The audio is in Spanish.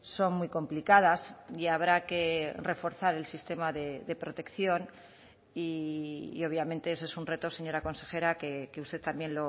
son muy complicadas y habrá que reforzar el sistema de protección y obviamente ese es un reto señora consejera que usted también